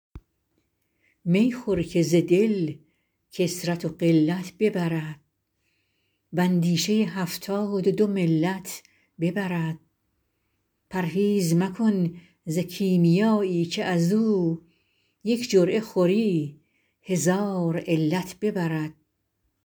می خور که ز دل کثرت و قلت ببرد و اندیشه هفتاد و دو ملت ببرد پرهیز مکن ز کیمیایی که از او یک جرعه خوری هزار علت ببرد